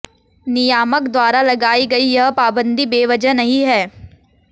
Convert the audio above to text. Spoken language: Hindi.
नियामक द्वारा लगाई गई यह पाबंदी बेवजह नहीं है